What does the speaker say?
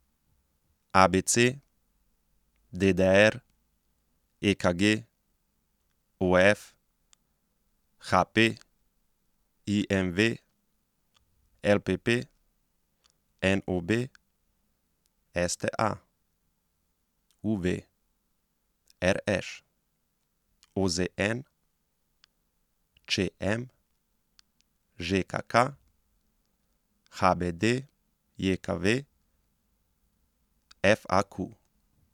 A B C; D D R; E K G; O F; H P; I M V; L P P; N O B; S T A; U V; R Š; O Z N; Č M; Ž K K; H B D J K V; F A Q.